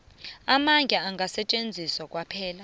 amandla angasetjenziswa kwaphela